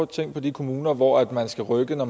tænke på de kommuner hvor man skal rykke når